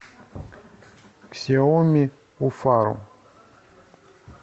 ксиомиуфару